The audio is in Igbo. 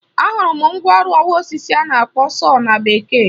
Ahụrụ m mgwa ọrụ ọwa osisi a na-akpọ sọọ na Bekee.